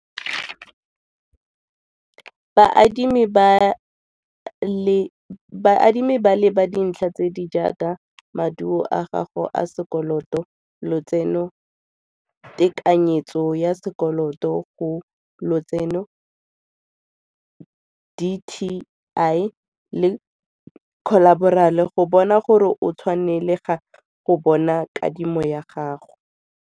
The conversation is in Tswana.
Baadimi ba leba dintlha tse di jaaka maduo a gago a sekoloto, lotseno, tekanyetso ya sekoloto go lotseno, D_T_I le go bona gore o tshwanelega go bona kadimo ya gago.